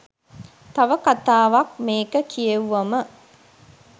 තව කතාවක් මේක කියෙව්වම.